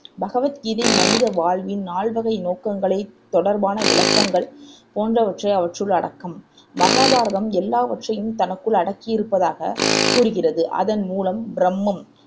பகவத் கீதை மனித வாழ்வின் நால்வகை நோக்கங்களை தொடர்பான விளக்கங்கள் போன்றவற்றை அவற்றுள் அடக்கம் மகாபாரதம் எல்லாவற்றையும் தனக்குள் அடக்கியிருப்பதாகக் கூறுகிறது அதன் முதலாம் ப்ரம்மம்